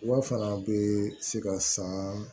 Wa fana bɛ se ka san